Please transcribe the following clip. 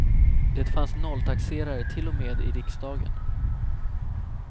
Det fanns nolltaxerare till och med i riksdagen.